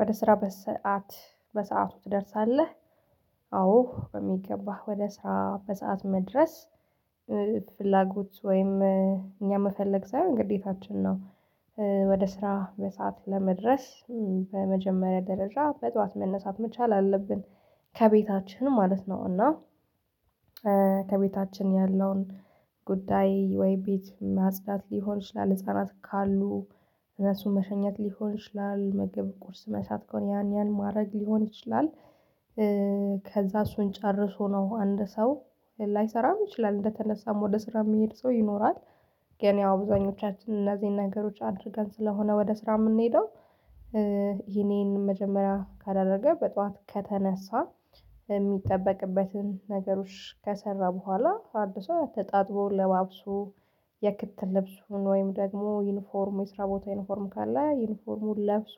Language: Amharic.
ወደ ስራ በሰአት በሰአቱ ትደርሳለህ? አዎ በሚገባ ወደ ስራ በሰአት መድረስ። ፍላጎት ወይም እኛ መፈለግ ሳይሆን ግዴታችን ነው። ወደ ስራ በሰአቱ ለመድረስ በመጀመሪያ ደረጃ በጧት መነሳት መቻል አለብን። ከቤታችን ማለት ነው እና ከቤታችን ያለውን ጉዳይ ወይ ቤት ማጽዳት ሊሆን ይችላል። ህፃናት ካሉ እነሱን መሸኘት ሊሆን ይችላል ምግብ ቁርስ መስራት ከሆነ ያን ማድረግ ሊሆን ይችላል። ከዛ እሱን ጨርሶ ነው አንድ ሰው ላይሰራም ይችላል እንደተነሳም ወደ ስራ የሚሄድ ሰው ይኖራል። ገና ያው አብዛኞቻችን እነዚህን ነገሮች አድርገን ስለሆነ ወደ ስራ የምንሄደው። ይሄንን መጀመሪያ ካደረገ በጧት ከተነሳ የሚጠበቅበትን ነገሮች ከሰራ በኋላ አድሶ ተጣጥቦ ለባብሶ የክትል ልብሱን ወይም ደግሞ ዩኒፎርሙን የስራ ቦታ ዩኒፎርሙ ካለ ዩኒፎርሙን ለብሶ